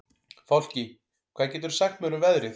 Fálki, hvað geturðu sagt mér um veðrið?